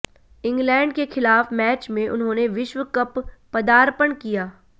England के खिलाफ match में उन्होंने विश्व कप पदार्पण किया